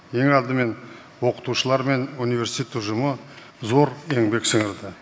ең алдымен оқытушылар мен университет ұжымы зор еңбек сіңірді